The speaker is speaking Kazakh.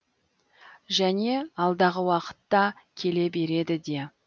және алдағы уақытта келе береді де